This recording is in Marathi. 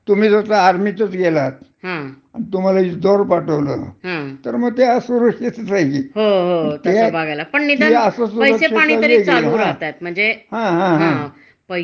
पैश्याच्या द्रीष्टीने पैसेपानी तरी म्हणजे चालू राहतात. हो, हो. आता आजुन आपण तस बगायला गेलो तर खासगी याच्यामध्ये आजकाल तर जस हॉटेल इंडस्ट्री झाल, मं आता फुल बाजार असतो,